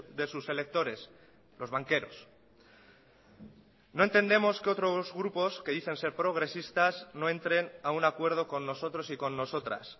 de sus electores los banqueros no entendemos que otros grupos que dicen ser progresistas no entren a un acuerdo con nosotros y con nosotras